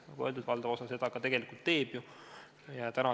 Nagu öeldud, valdav osa seda ka tegelikult täidab.